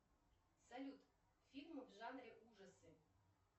салют фильмы в жанре ужасы